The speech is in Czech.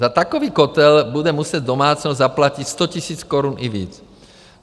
Za takový kotel bude muset domácnost zaplatit 100 000 korun, i víc.